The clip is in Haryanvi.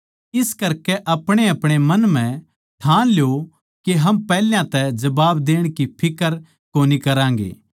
इस करकै अपणेअपणे मन म्ह ठान ल्यो के हम पैहल्या तै जबाब देण की फिक्र कोनी करागें